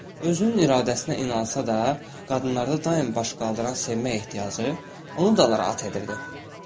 Özünün iradəsinə inansa da, qadınlarda daim baş qaldıran sevmək ehtiyacı onu da narahat edirdi.